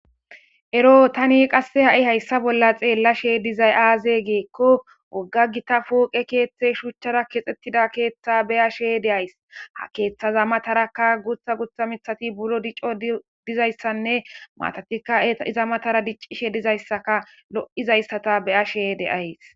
Ero tani qasse hai hayssa bolla xallashe diizay aze giko wogga gita pooqe keththay shuchara kexetida keththa beashe daysi ha keththaza matarakka guththa guththa miththati buro diccon diizayssane maatatika iza mattara diccishe dizayssaka loizayssa be'ashshe de'ayssi